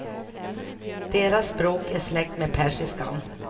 Deras språk är släkt med persiskan.